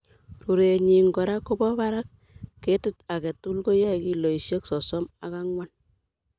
Rurenyin kora kobo barak. Ketit agetugul koiye kiloisiek sosom ok angwan.